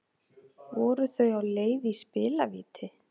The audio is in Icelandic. Voru þau á leið í spilavíti